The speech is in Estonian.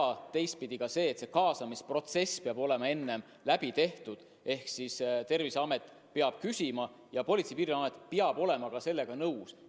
Ja teistpidi ka see, et see kaasamisprotsess peab olema enne läbi tehtud: Terviseamet peab abi küsima ja Politsei- ja Piirivalveamet peab olema sellega nõus.